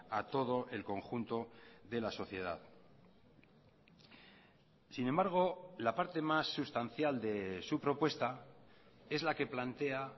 a todo el conjunto de la sociedad sin embargo la parte más sustancial de su propuesta es la que plantea